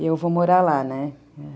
E eu vou morar lá, né?